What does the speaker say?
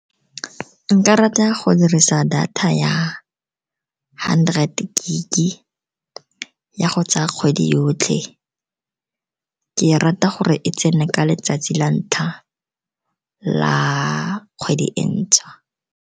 Nka rata go dirisa data ya hundred gig-i ya go tsaya kgwedi yotlhe, ke rata gore e tsene ka letsatsi la ntlha la kgwedi e ntšhwa.